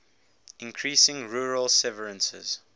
increasing rural severances